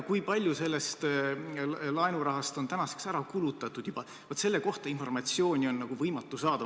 Kui palju sellest laenurahast on tänaseks juba ära kulutatud, selle kohta informatsiooni on võimatu saada.